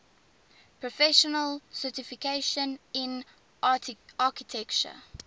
professional certification in architecture